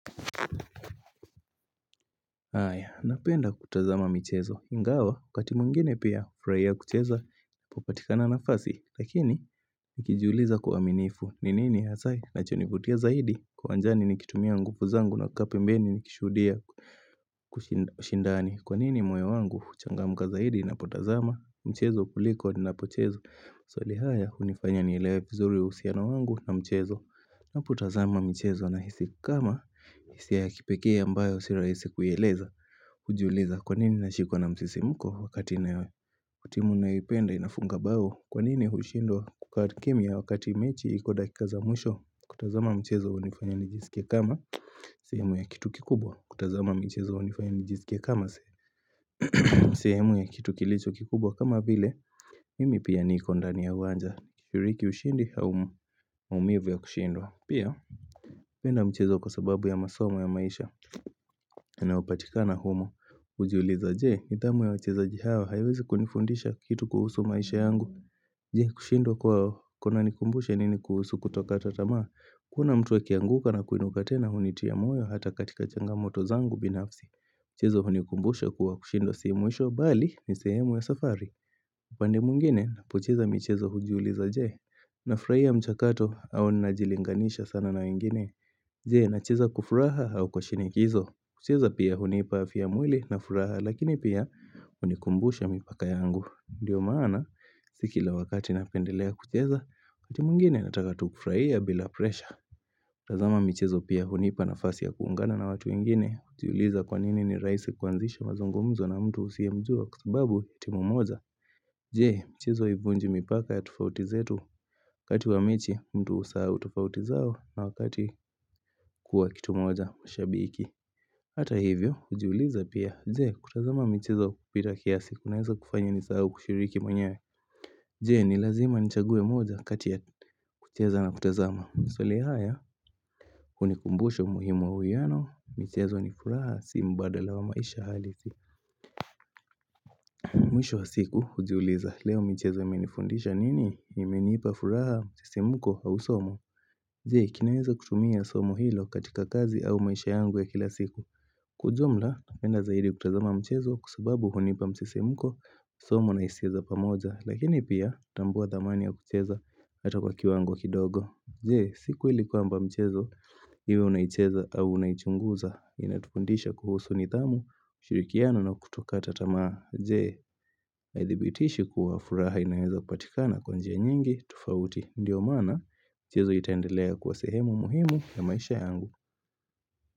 Haya, napenda kutazama mchezo ingawa, wakati mwingine pia nafurahia kucheza ninapopata nafasi lakini nikijuliza kuamimifu, ninini kinachonifutia zaidi kwa anjani nikitumia nguvu zangu nakaa pembeni nikishuhudia kushindani kwa nini moyo wangu huchangamka zaidi ninapotazama mchezo kuliko ninapocheza. Swali haya, hunifanya nielewe vizuri uhusiano wangu na mchezo. Ninapotazama mchezo, nahisi kama hisia ya kipekee ambayo si rahisi kuielewa kwanini nashikwa na msisimuko wakati timu naipenda inafunga bao. Kwanini hushindwa kukata kimia wakati mechi iko dakika za mwisho. Kutazama mchezo hunifanya nijisikie kama sehemu ya kitu kikubwa kutazama mchezo hunifanya nijisikie kama sehemu ya kitu kilicho kikubwa kama vile Mimi pia niko ndani ya uwanja. Yuriki ushindi au ya maumivu kushindwa. Pia, napenda mchezo kwa sababu ya masomo ya maisha inayopatikana humo hujiuliza je, nidhamu ya wachezaji hawa haiwezi kunifundisha kitu kuhusu maisha yangu Jee, kushindwa kwao kunanikumbusha nini kuhusu kutokata tamaa Kuna mtu akianguka na kuinuka tena hunitia moyo hata katika changa moto zangu binafsi Mchezo hunikumbushe kuwa kushindwa si mwisho bali ni sehemu ya safari upande mwingine, hucheza michezo hujiuliza je Nafurahia mchakato au ninajilinganisha sana na wengine Je, nacheza kwa furaha au kwa shinikizo. Kucheza pia hunipa afia ya mwili na furaha lakini pia hunikumbusha mipaka yangu. Ndiyo maana si kila wakati napendelea kucheza, wakati mwingine nataka tu kufurahia bila pressure. Tazama michezo pia hunipa nafasi ya kuungana na watu wengine hujiuliza kwanini ni rahisi kuanzisha mazungumzo na mtu usiyemjua kwa sababu ni timu moja Je, michezo haivunji mipaka ya tofauti zetu. Wakati wa mechi, mtu husahau tofauti zao na wakati kuwa kitu moja ushabiki. Hata hivyo, hujiuliza pia, je, kutazama mchezo kupita kiasi, kunaweza kufanya nisahau kushiriki mwenyewe Je, ni lazima nichague moja kati ya kutazama, swali haya hunikumbusha umuhimu wa wiyano mchezo ni furaha, si mbadala wa maisha halisi Mwisho wa siku, hujiuliza, leo mchezo umenifundisha nini? Imenipa furaha, msisimuko au somo Je, ninaweza kutumia somo hilo katika kazi au maisha yangu ya kila siku Kwa ujumla, napenda zaidi kutazama mchezo kwa sababu hunipa msisimuko somo na hisia za pamoja. Lakini pia kutambua thamani ya kucheza hata kwa kiwango kidogo. Je, siku ile kwamba mchezo iwe unaicheza au unaichunguza inatufundisha kuhusu nidhamu ushirikiano na kutokata tamaa. Je, inadhibitisha kuwa furaha inaweza kupatikana kwa njia nyingi tofauti ndio maana mchezo itendelea kuwa sehemu muhimu ya maisha yangu.